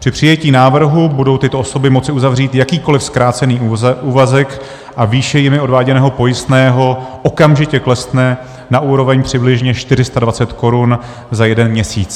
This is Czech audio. Při přijetí návrhu budou tyto osoby moci uzavřít jakýkoliv zkrácený úvazek a výše jimi odváděného pojistného okamžitě klesne na úroveň přibližně 420 korun za jeden měsíc.